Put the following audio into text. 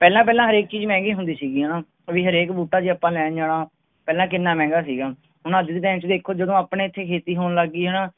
ਪਹਿਲਾਂ ਪਹਿਲਾਂ ਹਰੇਕ ਚੀਜ਼ ਮਹਿੰਗੀ ਹੁੰਦੀ ਸੀਗੀ ਹੈਨਾ ਕਿਉਂਕਿ ਹਰੇਕ ਬੂਟਾ ਜੇ ਆਪਾਂ ਲੈਣ ਜਾਣਾ ਪਹਿਲਾਂ ਕਿੰਨਾ ਮਹਿੰਗਾ ਸੀਗਾ ਹੈਨਾ ਹੁਣ ਅੱਜ ਦੇ time ਚੇ ਦੇਖੋ ਜਦੋਂ ਆਪਣੇ ਇਥੇ ਖੇਤੀ ਹੋਣ ਲਗ ਗਈ ਹੈਨਾ